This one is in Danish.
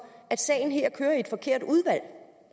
at sagen her kører i et forkert udvalg